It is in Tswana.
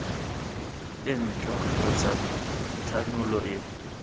e ntšhwa kgotsa thanolo e